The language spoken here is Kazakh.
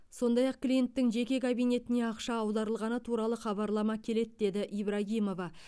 сондай ақ клиенттің жеке кабинетіне ақша аударылғаны туралы хабарлама келеді деді ибрагимова